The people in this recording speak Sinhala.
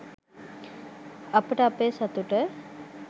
අපට අපේ සතුට